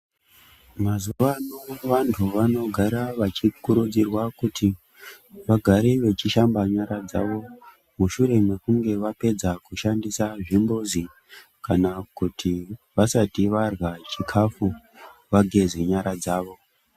Mazuvano, vantu vanogara vachikurudzirwa kuti vagare vechishamba nyara dzavo, mushure mekunge vapedza kushandisa zvimbuzi, kana kuti vasati vadla chikafu, vageze nyara dzavo.